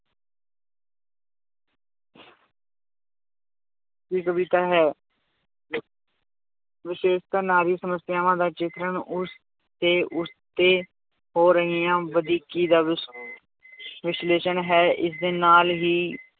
ਦੀ ਕਵਿਤਾ ਹੈ ਵਿਸ਼ੇਸ਼ਤਾ ਨਾਂ ਦੀ ਸਮੱਸਿਆਵਾਂ ਦਾ ਚਿਤਰਣ ਉਸ ਤੇ ਉਸ ਤੇ ਹੋ ਰਹੀਆਂ ਵਧੀਕੀ ਵਿਸ਼ ਵਿਸ਼ਲੇਸ਼ਣ ਹੈ ਇਸਦੇ ਨਾਲ ਹੀ